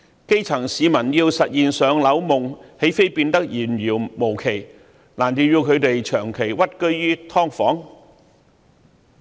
基層市民要實現"上樓夢"，豈非變得遙遙無期，難道要他們長期屈居於"劏房"？